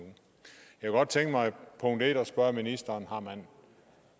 jeg kunne godt tænke mig at spørge ministeren om